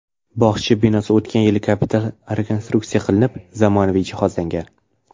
Bog‘cha binosi o‘tgan yili kapital rekonstruksiya qilinib, zamonaviy jihozlangan.